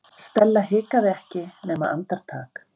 Stella hikaði ekki nema andartak.